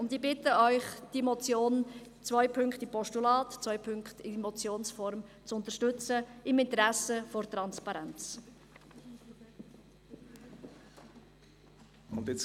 Ich bitte Sie, die Motion – zwei Punkte in Postulat-, zwei Punkte in Motionsform – im Interesse der Transparenz zu unterstützen.